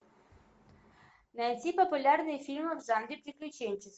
найди популярные фильмы в жанре приключенческий